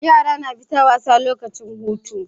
Yara suna fita wasa lokacin hutun